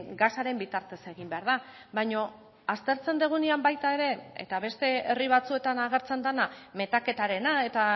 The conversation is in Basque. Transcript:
gasaren bitartez egin behar da baina aztertzen dugunean baita ere eta beste herri batzuetan agertzen dena metaketarena eta